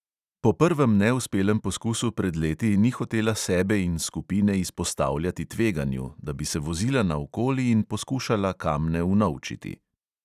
Po prvem neuspelem poskusu pred leti ni hotela sebe in skupine izpostavljati tveganju, da bi se vozila naokoli in poskušala kamne unovčiti.